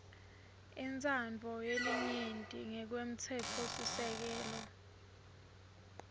intsandvo yelinyenti ngekwemtsetfosisekelo